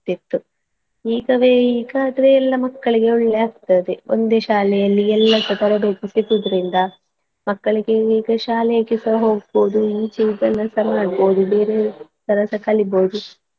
ಇರ್ತಿತ್ತು ಈಗವೇ ಈಗಾದ್ರೆ ಎಲ್ಲಾ ಮಕ್ಕಳಿಗೆ ಒಳ್ಳೆ ಆಗ್ತದೆ ಒಂದೇ ಶಾಲೆಯಲ್ಲಿ ಎಲ್ಲಾಸ ತರಬೇತಿ ಸಿಗುದ್ರಿಂದ ಮಕ್ಕಳಿಗೆ ಈಗ ಶಾಲೆಗೆಸ ಹೋಗ್ಬೋದು ಈಚೆ ಕೆಲಸ ಮಾಡ್ಬೋದು ಬೇರೆ ಕೆಲಸ ಕಲೀಬೋದು.